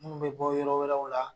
Munnu be bɔ yɔrɔ wɛrɛw la